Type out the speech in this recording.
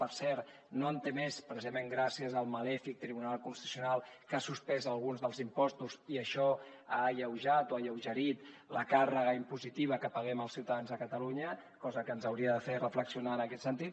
per cert no en té més precisament gràcies al malèfic tribunal constitucional que ha suspès alguns dels impostos i això ha alleujat o ha alleugerit la càrrega impositiva que paguem els ciutadans de catalunya cosa que ens hauria de fer reflexionar en aquest sentit